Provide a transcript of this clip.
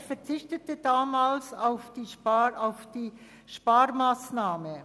Er verzichtete damals auf diese Sparmassnahme.